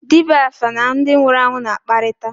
Dibịa áfá na ndị nwụrụ anwụ na-akparịta